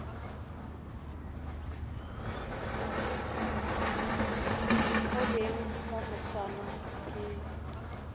go beng ka moswane ke